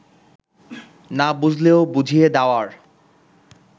না বুঝলেও বুঝিয়ে দেওয়ার